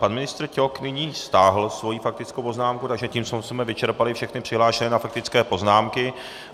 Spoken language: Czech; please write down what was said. Pan ministr Ťok nyní stáhl svoji faktickou poznámku, takže tím jsme vyčerpali všechny přihlášené na faktické poznámky.